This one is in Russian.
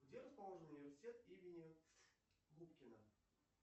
где расположен университет имени губкина